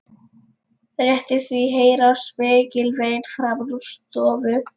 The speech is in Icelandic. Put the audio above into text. Rétt í því heyrast mikil vein framan úr stofu.